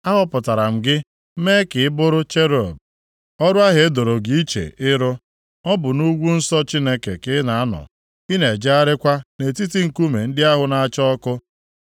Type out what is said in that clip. Ahọpụtara m gị mee gị ka ị bụrụ cherub, ọrụ ahụ e doro gị iche ịrụ. Ọ bụ nʼugwu nsọ Chineke ka ị na-anọ, na-ejegharịkwa nʼetiti nkume ndị ahụ na-acha ọkụ.